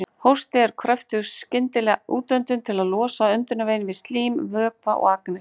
Hósti er kröftug skyndileg útöndun til að losa öndunarveginn við slím, vökva eða agnir.